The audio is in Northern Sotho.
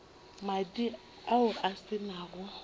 madi ao a se nago